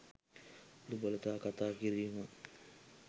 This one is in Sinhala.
දුබලතා කතා කිරීම